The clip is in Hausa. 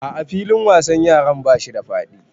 A'a filin wasan yaran bashi da faɗi